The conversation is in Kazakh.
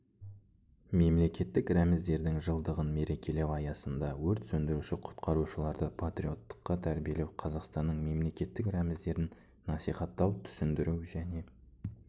мемлекеттік рәміздердің жылдығын мерекелеу аясында өрт сөндіруші құтқарушыларды патриоттыққа тәрбиелеу қазақстанның мемлекеттік рәміздерін насихаттау түсіндіру және